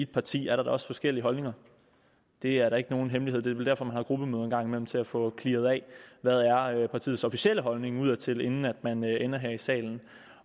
parti er der da også forskellige holdninger det er da ikke nogen hemmelighed det er vel derfor man har gruppemøde en gang imellem nemlig til at få clearet hvad der er partiets officielle holdning udadtil inden man ender her i salen